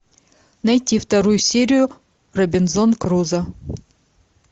найти вторую серию робинзон крузо